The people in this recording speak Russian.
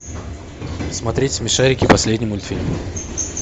смотреть смешарики последний мультфильм